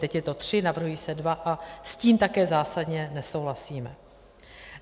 Teď je to tři, navrhují se dva a s tím také zásadně nesouhlasíme.